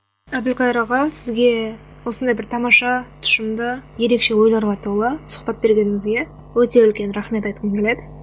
әбілқайыр аға сізге осындай бір тамаша тұшымды ерекше ойларға толы сұхбат бергеніңізге өте үлкен рахмет айтқым келеді